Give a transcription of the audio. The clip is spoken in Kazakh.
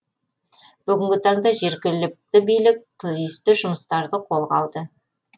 бүгінгі таңда жергілікті билік тиісті жұмыстарды қолға алды